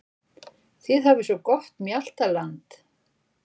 Þið hafið svo gott mjaltaland.